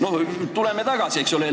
Läheme ajas tagasi.